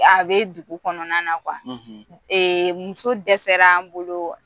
A bɛ dugu kɔnɔna na ɛɛ muso dɛsɛra an bolo